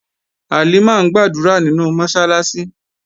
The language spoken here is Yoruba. Halimah ń gbàdúrà nínú Mọ́sálásí